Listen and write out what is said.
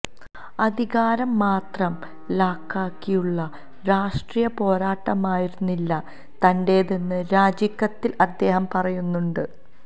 അധികാരം മാത്രം ലാക്കാക്കിയുള്ള രാഷ്ട്രീയ പോരാട്ടമായിരുന്നില്ല തന്റേതെന്നും രാജിക്കത്തില് അദ്ദേഹം പറയുന്നുണ്ട്